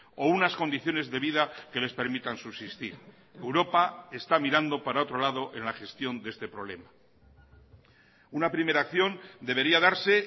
o unas condiciones de vida que les permitan subsistir europa está mirando para otro lado en la gestión de este problema una primera acción debería darse